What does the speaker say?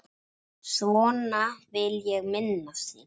Svona vil ég minnast þín.